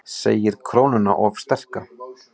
Segir krónuna of sterka